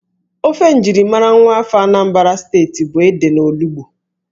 Ófé njirimara nwaafọ Anambra Steeti bụ ede na olugbu